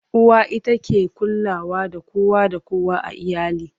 uwa ita ke kulawa da kowa da kowa a iyali